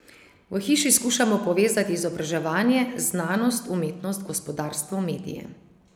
V Hiši skušamo povezati izobraževanje, znanost, umetnost, gospodarstvo, medije.